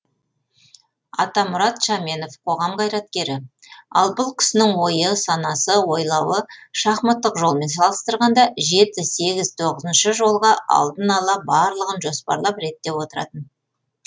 атамұрат шаменов қоғам қайраткері ал бұл кісінің ойы санасы ойлауы шахматтық жолмен салыстырғанда жеті сегіз тоғызыншы жолға алдын ала барлығын жоспарлап реттеп отыратын